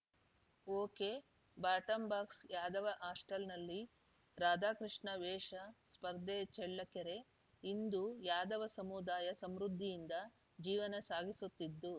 ಒಕೆಬಾಟಂಬಾಕ್ಸ್ ಯಾದವ ಹಾಸ್ಟೆಲ್‌ನಲ್ಲಿ ರಾಧಾಕೃಷ್ಣ ವೇಶ ಸ್ಪರ್ಧೆ ಚಳ್ಳಕೆರೆ ಇಂದು ಯಾದವ ಸಮುದಾಯ ಸಮೃದ್ಧಿಯಿಂದ ಜೀವನ ಸಾಗಿಸುತ್ತಿದ್ದು